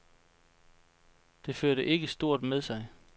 Det førte ikke stort med sig.